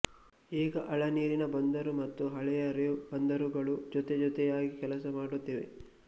ಈಗ ಆಳನೀರಿನ ಬಂದರು ಮತ್ತು ಹಳೆಯ ರೇವು ಬಂದರುಗಳು ಜೊತೆ ಜೊತೆಯಾಗಿ ಕೆಲಸ ಮಾಡುತ್ತಿವೆ